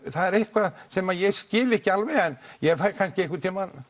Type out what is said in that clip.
það er eitthvað sem ég skil ekki alveg en fæ kannski einhvern tímann